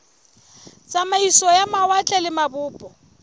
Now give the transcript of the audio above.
tsamaiso ya mawatle le mabopo